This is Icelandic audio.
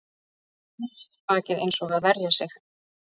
Púðra á mér bakið eins og að verja sig